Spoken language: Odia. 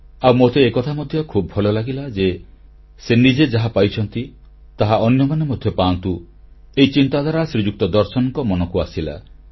ଆଉ ମୋତେ ଏକଥା ମଧ୍ୟ ଖୁବ୍ ଭଲ ଲାଗିଲା ଯେ ସେ ନିଜେ ଯାହାପାଇଛନ୍ତି ତାହା ଅନ୍ୟମାନେ ମଧ୍ୟ ପାଆନ୍ତୁ ଏହି ଚିନ୍ତାଧାରା ଶ୍ରୀଯୁକ୍ତ ଦର୍ଶନଙ୍କ ମନକୁ ଆସିଲା